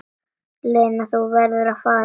Lena, þú verður að fara!